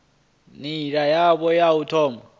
nila yavhui ya u thoma